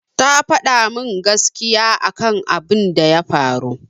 Ta faɗa min gaskiya akan abin da ya faru.